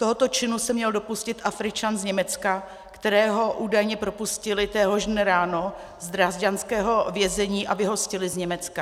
Tohoto činu se měl dopustit Afričan z Německa, kterého údajně propustili téhož dne ráno z drážďanského vězení a vyhostili z Německa.